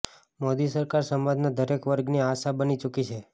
મોદી સરકાર સમાજના દરેક વર્ગની આશા બની ચૂકી છે